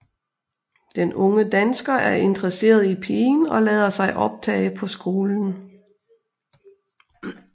Den unge dansker er interesseret i pigen og lader sig optage på skolen